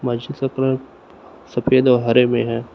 सफेद और हरे में है।